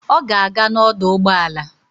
Ọ ga-aga n'ọdọụgbọala